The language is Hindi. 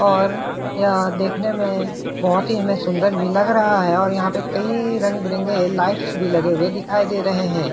और यह देखने में बहोत ही हमें सुन्दर भी लग रहा है और यहां पे कई रंग-बिरंगे लाइट्स भी लगे हुए दिखाई दे रहे है।